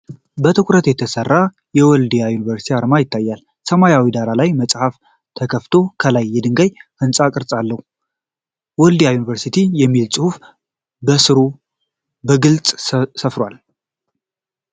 በትኩረት የተሰራ የወልድያ ዩኒቨርሲቲ አርማ ይታያል። ሰማያዊ ዳራ ላይ መጽሐፍ ተከፍቶ፣ ከላይ የድንጋይ ሕንፃ ቅርፅ አለ። ውልዲያ ዩኒቨርስቲ' የሚል ጽሑፍ በስሩ በግልጽ ሰፍሯል።